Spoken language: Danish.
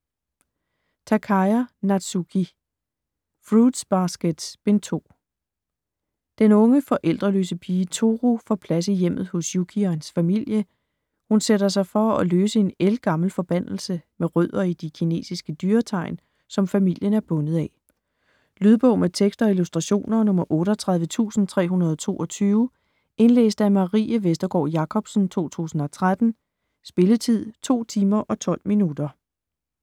Takaya, Natsuki: Fruits basket: Bind 2 Den unge forældreløse pige Toru får plads i hjemmet hos Yuki og hans familie. Hun sætter sig for at løse en ældgammel forbandelse med rødder i de kinesiske dyretegn, som familien er bundet af. Lydbog med tekst og illustrationer 38322 Indlæst af Marie Vestergård Jacobsen, 2013. Spilletid: 2 timer, 12 minutter.